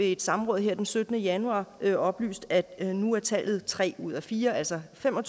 et samråd den syttende januar har ministeren oplyst at nu er tallet tre ud af fire altså fem og